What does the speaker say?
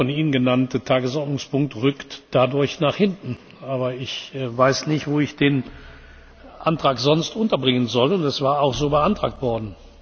Der von Ihnen genannte Tagesordnungspunkt rückt dadurch nach hinten. Aber ich weiß nicht, wo ich den Antrag sonst unterbringen soll, und es war auch so beantragt worden.